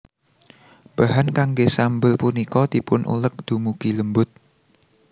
Bahan kanggé sambel punika dipunuleg dumugi lembut